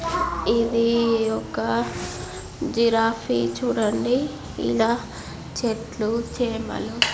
ఇది ఒక జిరాఫీ . చూడండి ఇలా చెట్ల చేమలు --